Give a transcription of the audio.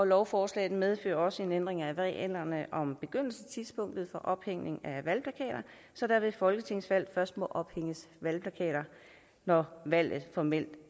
lovforslaget medfører også ændringer af reglerne om begyndelsestidspunktet for ophængning af valgplakater så der ved folketingsvalg først må ophænges valgplakater når valget formelt